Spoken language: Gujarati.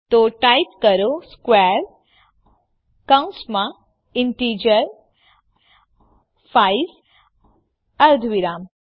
તો ટાઈપ કરો સ્ક્વેર કૌંસમાં ઇન્ટિજર 5 અર્ધવિરામ